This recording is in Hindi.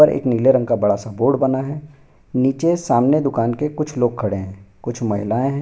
नीले रंग का बड़ा सा बोर्ड बना है नीचे सामने दुकान के कुछ लोग खड़े हैं कुछ महिलाएं हैं।